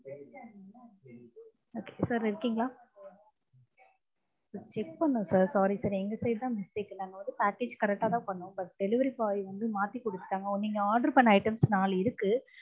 okay sir இருக்கீங்களா? check பண்னோம் sir sorry sir எங்க side தான் mistake நாங்க வந்து package correct ஆ தான் பண்ணோம் but delivery boy வந்து மாத்தி கொடுத்துட்டாங்க. நீங்க order பண்ண items நாலு இருக்கு